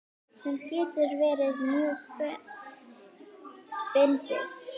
Sem getur verið mjög fyndið.